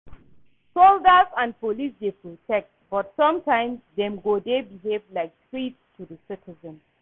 Soldiers and police dey protect but sometimes dem go dey behave like threats to di citizens.